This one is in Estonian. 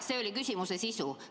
See oli küsimuse sisu.